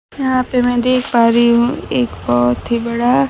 यहां पे मैं देख पा रही हूं एक बहोत ही बड़ा--